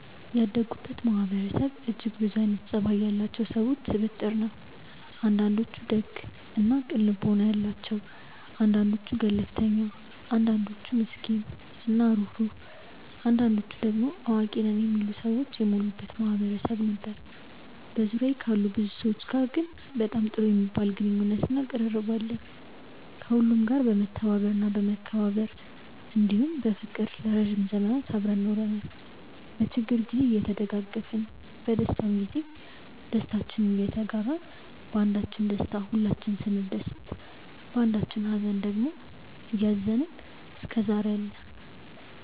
ያደኩበት ማህበረሰብ እጅግ ብዙ አይነት ፀባይ ያላቸው ሰዎች ስብጥር ነው። አንዳንዶቹ ደግ እና ቅን ልቦና ያላቸው አንዳንዶቹ ገለፍተኛ አንዳንዶቹ ምስኪን እና ሩህሩህ አንዳንዶቹ ደሞ አዋቂ ነን የሚሉ ሰዎች የሞሉበት ማህበረሰብ ነበር። በዙሪያዬ ካሉ ብዙ ሰዎች ጋር ግን በጣም ጥሩ የሚባል ግንኙነት እና ቅርርብ አለን። ከሁሉም ጋር በመተባበር እና በመከባበር እንዲሁም በፍቅር ለረዥም ዘመናት አብረን ኖረናል። በችግር ግዜ እየተደጋገፍን በደስታም ግዜ ደስታችንን እየተጋራን ባንዳችን ደስታ ሁላችንም ስንደሰት ባንዳችኝ ሃዘን ደግሞ እያዘንን እስከዛሬ አለን።